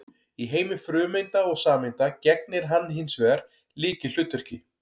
Í heimi frumeinda og sameinda gegnir hann hins vegar lykilhlutverki.